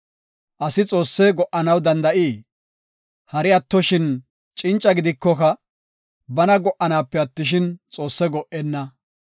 “Asi Xoosse go77anaw danda7ii? Hari attoshin cinca gidikoka, bana go77anaape attishin, Xoosse go77enna.